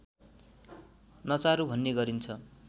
नचारु भन्ने गरिन्छ